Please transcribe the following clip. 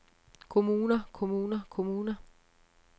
kommuner kommuner kommuner